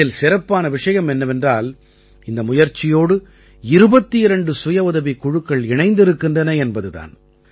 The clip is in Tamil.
இதில் சிறப்பான விஷயம் என்னவென்றால் இந்த முயற்சியோடு 22 சுயஉதவிக் குழுக்கள் இணைந்திருக்கின்றன என்பது தான்